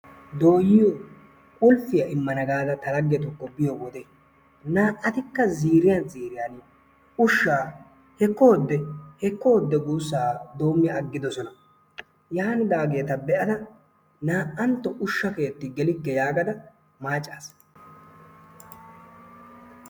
Doyiyoo qulppiyaa immana gaada ta laggetukko biyoo wode naa"atikka ziiriyaan ziiriyaan ushshaa heekko hode heekko hode guussaa doommi agidoosona. yaanidaageta be'ada naa"atto ushsha keetti geelikke yaagada maacaas.